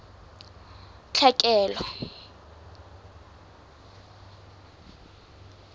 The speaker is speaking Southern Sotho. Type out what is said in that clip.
tlhekelo